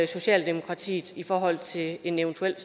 socialdemokratiet i forhold til en eventuel